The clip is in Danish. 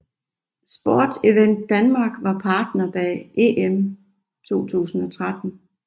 Sport Event Danmark var partner bag EM 2013